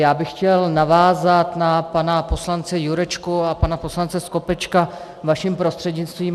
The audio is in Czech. Já bych chtěl navázat na pana poslance Jurečku a pana poslance Skopečka vaším prostřednictvím.